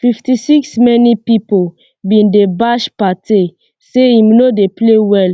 fifty-sixmany pipo bin dey bash partey say im no dey play well